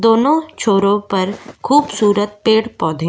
दोनों छोरों पर खूबसूरत पेड़ पौधे --